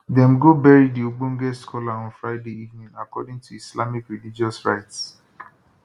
dem go bury di ogbonge scholar on friday evening according to islamic religious rites